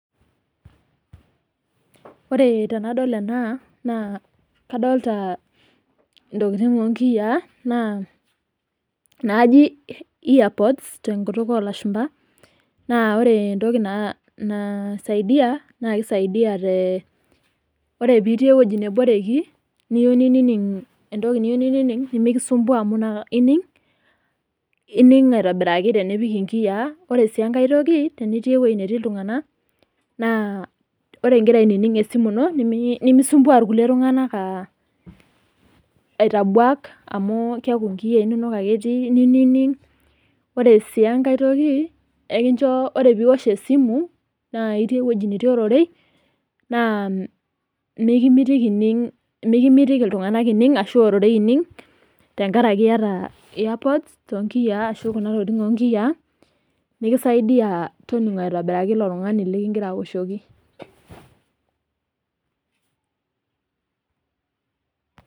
Ore tenadol enaa naa kadolita intokitin onkiyaaa naa naaji earpods tonkutuk oolashumba naa ore entoki naisaidia naa keisaidia tee ,ore pitii ewueji neboreki niyeu ninining' entoki niyeu nining' mikisuambua amu ining' aitobiraki tenipik inkiyaa. Ore sii enkae toki enitii ewueji netii iltunganak naa ore igira ainining' esimu ino nemiyeu nisumbua irkulie tunganak aitabuak amuu keaku inkiyaa inonok ake etii nining'. Ore sii enkae toki ekincho ore piwosh esimu naa itii ewueji netii ororei naa mikimitiki ining' ,mikimitiki iltunganak ining' ashu ororei ining' tengaraki ieta earpod tonkiyaa ashu kuna tokitin onkiyaa ,nikisaidia toning'o aitobiraki ilo tungani likigira aoshoki.